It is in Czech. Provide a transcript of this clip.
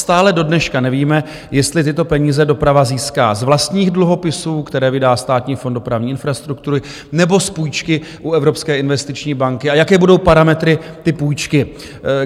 Stále dodneška nevíme, jestli tyto peníze doprava získá z vlastních dluhopisů, které vydá Státní fond dopravní infrastruktury, nebo z půjčky u Evropské investiční banky, a jaké budou parametry té půjčky.